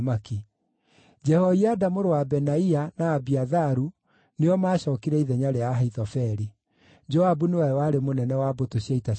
Jehoiada mũrũ wa Benaia na Abiatharu nĩo maacookire ithenya rĩa Ahithofeli. Joabu nĩwe warĩ mũnene wa mbũtũ cia ita cia mũthamaki.